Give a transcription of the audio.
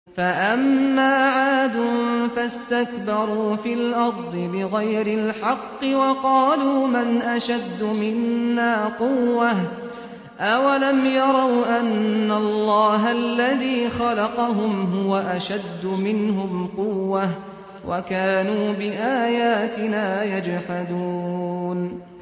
فَأَمَّا عَادٌ فَاسْتَكْبَرُوا فِي الْأَرْضِ بِغَيْرِ الْحَقِّ وَقَالُوا مَنْ أَشَدُّ مِنَّا قُوَّةً ۖ أَوَلَمْ يَرَوْا أَنَّ اللَّهَ الَّذِي خَلَقَهُمْ هُوَ أَشَدُّ مِنْهُمْ قُوَّةً ۖ وَكَانُوا بِآيَاتِنَا يَجْحَدُونَ